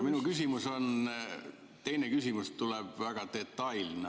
Minu teine küsimus on väga detailne.